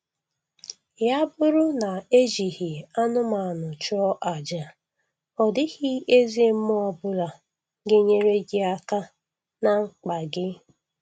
Ya bụrụ na e jighị anụmanụ chụọ aja, ọdịghị eze mmụọ ọbụla ga-enyere gị aka na mkpa gị